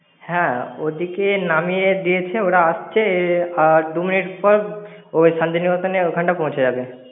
হ্যাঁ, ওদিকে নামিয়ে দিয়েছে ওরা আসছে। আর দু minute পর ওই শান্তিনিকেতনের ওইখানটা পৌঁছে যাবে।